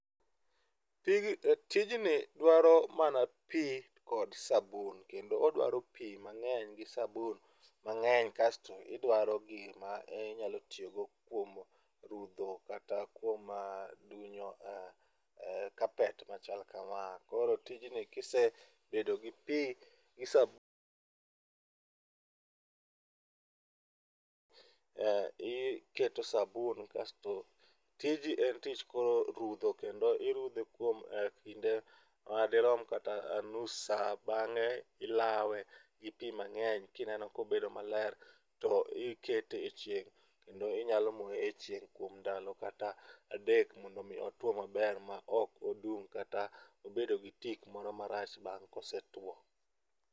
Pig, tijni dwaro mana pii kod sabun kendo odwaro pii mangeny gi sabun mangeny kasto idwaro gima inyalo tiyo go kuom rudho kata kuom dunyo eeh, carpet machal kama. Koro tijni kisebedo gi pii gi sabu eeh, iketo sabun kasto tijii en tich koro rudho kendo irudhe kuom kinde madirom kata nus saa. Bange ilawe gi pii mangeny kineno kobedo maler to iket e e chieng' kendo inyalo moye e chieng' kuom ndalo kata adek mondo mi otuo maber ma ok odum kata obedo gi tik moro marach bang' kose tuo